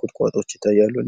ቁጥቋጦዎች ይታያሉ።